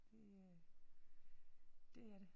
Det øh det er det